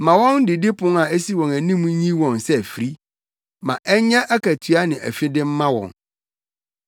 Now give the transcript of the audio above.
Ma wɔn didipon a esi wɔn anim nyi wɔn sɛ afiri; ma ɛnyɛ akatua ne afide mma wɔn.